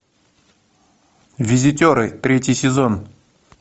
визитеры третий сезон